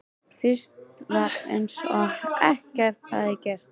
Fyrst var eins og ekkert hefði gerst.